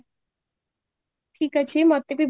ଠିକ ଅଛି ମତେ ବି ବହୁତ